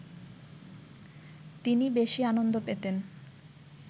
তিনি বেশি আনন্দ পেতেন